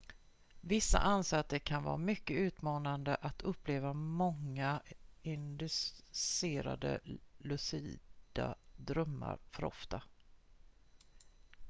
vissa anser att det kan vara mycket utmattande att uppleva många inducerade lucida drömmar för ofta